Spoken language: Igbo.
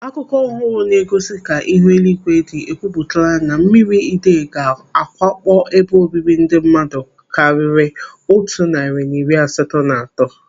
Akụkọ ọhụrụ na-egosi ka ihu eluigwe dị ekwupụtala na mmiri idei ga-awakpo ebe obibi ndị mmadụ karịrị otu narị na iri asatọ na atọ.